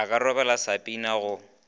a ka rebola sapina go